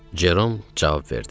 Cerom cavab verdi.